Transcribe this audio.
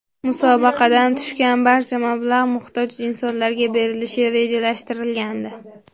Musobaqadan tushgan barcha mablag‘ muhtoj insonlarga berilishi rejalashtirilgandi.